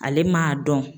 Ale m'a dɔn